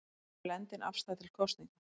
Blendin afstaða til kosninga